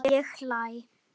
Ég hlæ.